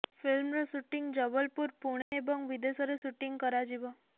ଫିଲ୍ମର ସୁଂଟି ଜବଲପୁର ପୁଣେ ଏବଂ ବିଦେଶରେ ସୁଟିଂ କରାଯିବ